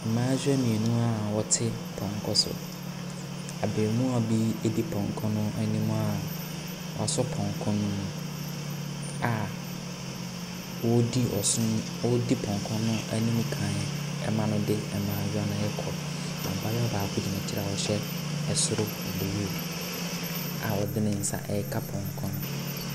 Mmaayewa mmienu a wɔte pɔnkɔkɔ so . Abaamuwaa bi di pɔnko no anim a wasɔ pɔnkɔ no mu a wodi ɔson odi pɔnkɔ no anim kan ɛma no de mmaayewa no kɔ. Abaayewa baako gyina akyire a ɔhyɛ ɛsoro bluem a ɔde ne nsa ɛreka pɔnkɔ no.